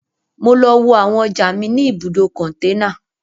Mo lọ wo àwọn ọjà mi ní ibùdó-kòǹtẹ́nà